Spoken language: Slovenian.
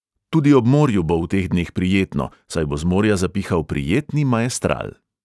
Tudi ob morju bo v teh dneh prijetno, saj bo z morja zapihal prijetni maestral.